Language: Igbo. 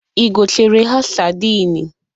Ị gotere ha sadịn?